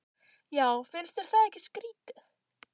Já, finnst þér það ekki skrýtið?